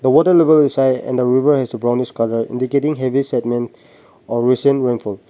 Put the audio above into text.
water level is and the river has a brownish color indicating heavy sedmen or recent rainfall.